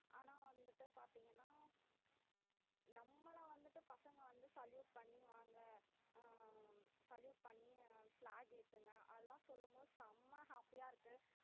ஆனா வந்துட்டு பாத்தீங்கன்னா நம்மள வந்துட்டு பசங்க வந்து salute பண்ணி வாங்க அஹ் salute பண்ணி அஹ் flag ஏத்துங்க அதெல்லாம் சொல்லும் போது செம்ம happy அ இருக்கு